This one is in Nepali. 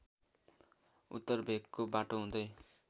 उत्तर भेकको बाटो हुँदै